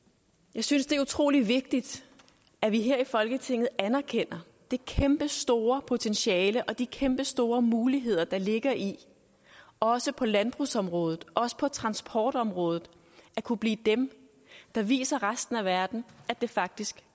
jeg synes det er utrolig vigtigt at vi her i folketinget anerkender det kæmpestore potentiale og de kæmpestore muligheder der ligger i også på landbrugsområdet og også på transportområdet at kunne blive dem der viser resten af verden at det faktisk